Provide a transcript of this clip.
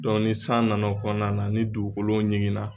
ni san nana kɔnɔna na ni dugu ɲiginna